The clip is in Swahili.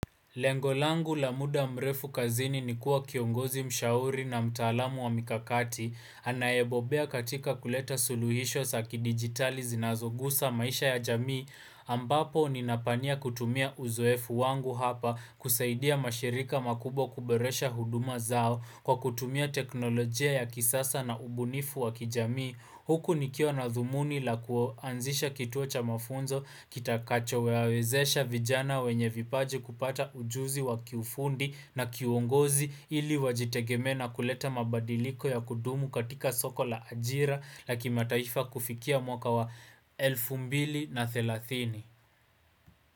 Lengo langu la muda mrefu kazini ni kuwa kiongozi mshauri na mtaalamu wa mikakati, anayebobea katika kuleta suluhisho sa kidigitali zinazogusa maisha ya jamii, ambapo ninapania kutumia uzoefu wangu hapa kusaidia mashirika makubwa kuboresha huduma zao kwa kutumia teknolojia ya kisasa na ubunifu wa kijamii. Huku nikiwa na thumuni la kuanzisha kituo cha mafunzo kitakacho wawezesha vijana wenye vipaji kupata ujuzi wa kiufundi na kiwongozi ili wajitegemee na kuleta mabadiliko ya kudumu katika soko la ajira la kimataifa kufikia mwaka wa 2030.